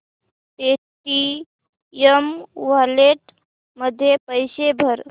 Paytm wallet मध्ये पैसे भर